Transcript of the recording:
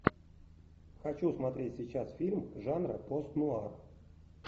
хочу смотреть сейчас фильм жанра пост нуар